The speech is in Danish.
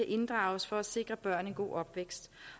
inddrages for at sikre børn en god opvækst